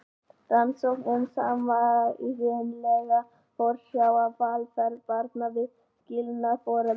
Rannsókn um sameiginlega forsjá og velferð barna við skilnað foreldra.